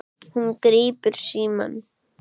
Hún grípur símann.